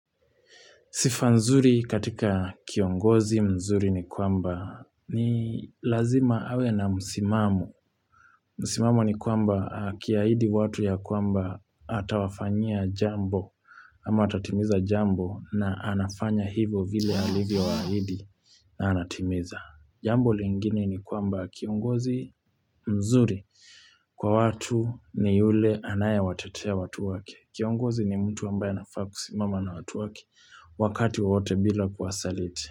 Sifa nzuri katika kiongozi mzuri ni kwamba ni lazima awe na musimamu. Musimamu ni kwamba akiahidi watu ya kwamba atawafanyia jambo ama atatimiza jambo na anafanya hivo vile alivyowaahidi na anatimiza. Jambo lingine ni kwamba kiongozi mzuri kwa watu ni yule anayewatetea watu wake. Kiongozi ni mtu ambaye anafaa kusimama na watu wake wakati wowote bila kuwasaliti.